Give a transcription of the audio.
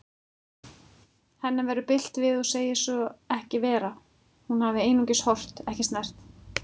Henni verður bilt við og segir svo ekki vera, hún hafi einungis horft, ekki snert.